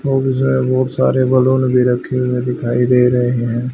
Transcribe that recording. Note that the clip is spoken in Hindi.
और इसमें बहुत सारे बैलून भी रखे हुए दिखाई दे रहे हैं।